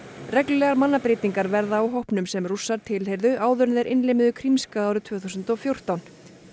reglulegar mannabreytingar verða á hópnum sem Rússar tilheyrðu áður þeir innlimuðu Krímskaga árið tvö þúsund og fjórtán